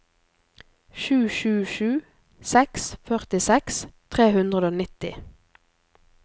sju sju sju seks førtiseks tre hundre og nitti